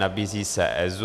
Nabízí se EZÚ.